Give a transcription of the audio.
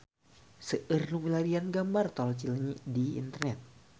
Seueur nu milarian gambar Tol Cileunyi di internet